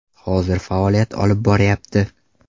Hozir faoliyat olib boryapti.